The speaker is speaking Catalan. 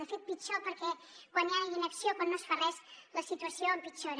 de fet pitjor perquè quan hi ha inacció quan no es fa res la situació empitjora